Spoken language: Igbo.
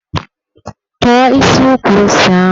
Tọ̀ọ́ isi ukwu ose ahụ!